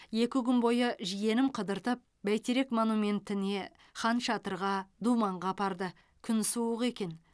екі күн бойы жиенім қыдыртып бәйтерек монументіне хан шатырға думанға апарды күн суық екен